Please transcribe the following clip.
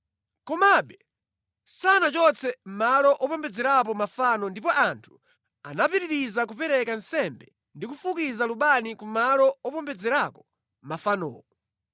Komabe sanachotse malo opembedzerapo mafano ndipo anthu anapitiriza kupereka nsembe ndi kufukiza lubani ku malo opembedzerako mafanowo.